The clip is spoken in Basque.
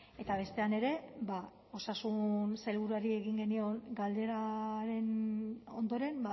eta bestean ere osasun sailburuari egin genion galderaren ondoren